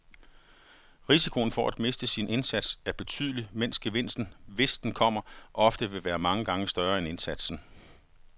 Risikoen for at miste sin indsats er betydelig, mens gevinsten, hvis den kommer, ofte vil være mange gange større end indsatsen.